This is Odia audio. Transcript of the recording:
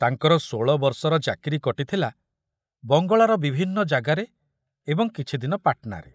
ତାଙ୍କର ଷୋଳବର୍ଷର ଚାକିରି କଟିଥିଲା ବଙ୍ଗଳାର ବିଭିନ୍ନ ଯାଗାରେ ଏବଂ କିଛିଦିନ ପାଟନାରେ।